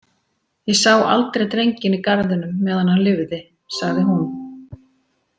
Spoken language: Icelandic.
Ég sá aldrei drenginn í garðinum meðan hann lifði, sagði hún.